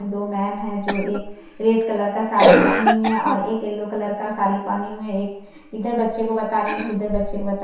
''दो मैम है जो एक रेड कलर का साडी पहनी है और एक येल्लो कलर का साडी पहनी हुई है एक इधर बच्चे को बता रही है एक उधर बच्चे को बता--''